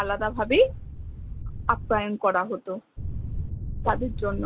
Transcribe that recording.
আলাদা ভাবেই করা হত তাদের জন্য়